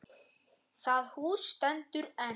Það hús stendur enn.